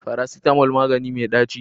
Farasitamo magani me mai ɗaci